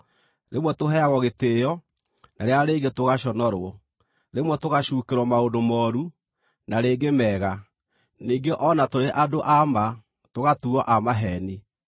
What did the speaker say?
rĩmwe tũheagwo gĩtĩĩo, na rĩrĩa rĩngĩ tũgaconorwo, rĩmwe tũgacuukĩrwo maũndũ mooru na rĩngĩ mega; ningĩ o na tũrĩ andũ a ma, tũgatuuo a maheeni;